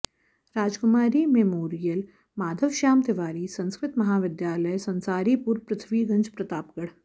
Rajkumari memorial Madhavshyam Tiwari Sanskrit Mahavidyalaya Sansaripur Prithviganj Pratapgarh